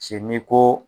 Se n'i ko